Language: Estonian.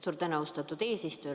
Suur tänu, austatud eesistuja!